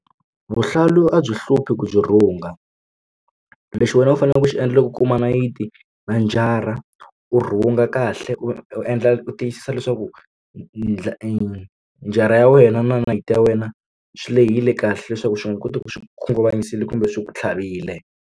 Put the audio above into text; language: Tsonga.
vuhlalu a byi hluphi ku byi rhunga lexi wena u faneleke ku xi endla loko u kuma nayiti na njara urhunga kahle u endla u tiyisisa leswaku njara ya wena na nayiti ya wena swi lehile kahle leswaku xi nga koti ku swi khunguvanyisiwile kumbe swi ku tlhavile